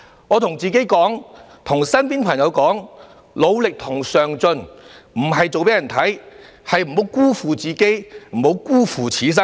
我告訴自己及身邊朋友，努力和上進並非做給別人看的，而是不要辜負自己、不要辜負此生。